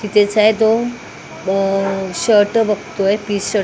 तिथेचा आहे तो अ शर्ट बघतोय पीस शर्ट --